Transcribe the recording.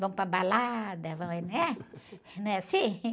Vão para balada, vão em, né? Não é assim?